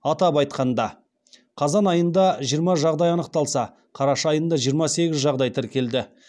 атап айтқанда қазан айында жиырма жағдай анықталса қараша айында жиырма сегіз жағдай тіркелді